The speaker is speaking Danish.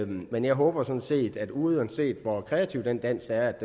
men jeg håber sådan set at uanset hvor kreativ den dans er